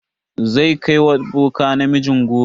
Zan kai wa boka ne namijin goron.